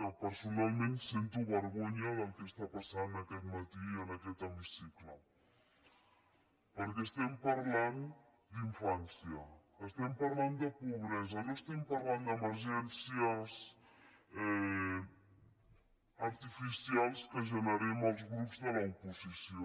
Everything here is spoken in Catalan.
que personal·ment sento vergonya del que està passant aquest matí en aquest hemicicle perquè estem parlant d’infància estem parlant de pobresa no estem parlant d’emergències artificials que generem els grups de l’oposició